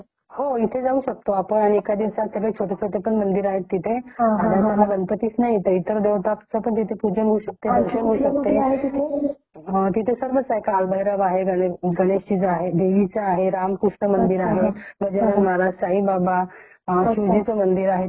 तिथे सर्वच आहे गणेश च कालभैरव आहे देवी च आहे रामकृष्ण आहे .बजरंग महाराज . साईबाबा शिवजी च मंदिर आहे तिथे रामकृष्ण मंदिर आहे .राधाकृष्ण तिरुपती बालाजी छोटे छोटे सगळे मंदिर आहेत तिथे असा वेगले वेगळे सेपरेट सेपरेट असे छोटे छोटे मंदिर करून मग पूजन होते तिथे .